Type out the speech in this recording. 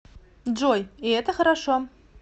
джой и это хорошо